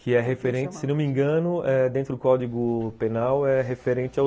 Que é referente, se não me engano, dentro do Código Penal, é referente aos